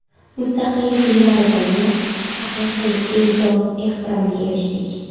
Mustaqillik yillaridagina haqiqiy e’zoz-ehtiromga erishdik.